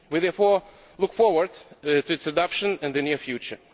We therefore look forward to its adoption in the near future.